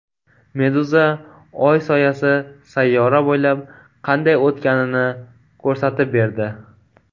Meduza Oy soyasi sayyora bo‘ylab qanday o‘tganini ko‘rsatib berdi .